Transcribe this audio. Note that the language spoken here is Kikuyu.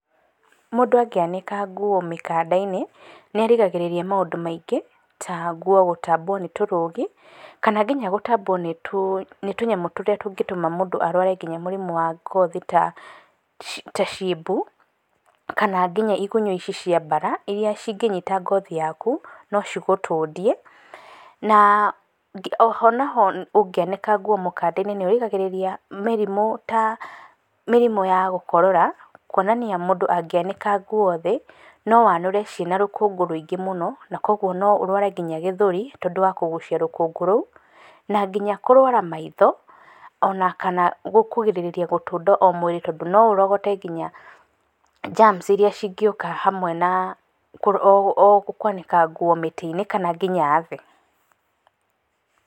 Mũndũ angĩanĩka nguo mĩkanda-inĩ nĩarigagĩrĩria maũndũ maingĩ ta nguo gũtambwo nĩ tũrũgi kana nginya gũtambwo nĩ tũnyamú tũrĩa tũtũmaga mũndũ arware nginya mũrimũ wa ngothi ta ciebu kana nginya igunyũ cia mbara iria cingĩnyita ngothi yaku nocigũtũdie ,na oho naho ungĩanĩka nguo mĩkanda-inĩ nĩirigagĩrĩria mĩrimũ ta mĩrimũ ya gũkorora kuonania mũndũ angĩanĩka nguo thĩ no anũre ciĩna rũkũngũ rũingĩ mũno oguo no ũrware nginya gĩthũri niũndũ wa kũgucia rũkũngũ rũu na nginya kũrwara maitho ona nginya gũtũnda mwĩrĩ tondũ noũrogote nginya [germs]iria cingĩũka nĩũdũ wa kwanika nguo mitĩ-inĩ kana nginya thĩ.